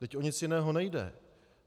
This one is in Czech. Vždyť o nic jiného nejde.